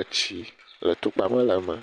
etsi le tukpawo le eme